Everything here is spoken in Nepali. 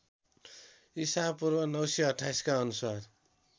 ईपू ९२८ का अनुसार